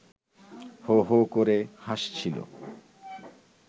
হো হো করে হাসছিল